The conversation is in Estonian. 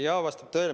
Jaa, vastab tõele.